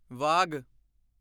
Wagh